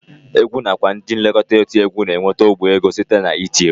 Egwu nakwa ndị nlekọta otiegwu na-enweta ọgbara ego site n'iti egwu